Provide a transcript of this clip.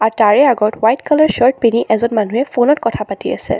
তাৰে আগত white colour shirt পিন্ধি এজন মানুহে ফোনত কথা পাতি আছে।